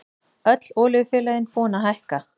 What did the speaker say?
Öll olíufélögin búin að hækka